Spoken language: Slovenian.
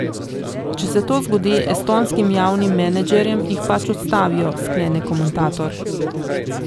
Če se to zgodi estonskim javnim menedžerjem, jih pač odstavijo, sklene komentator.